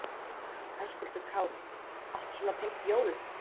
Höskuldur Kári: Allt svona tengt jólum?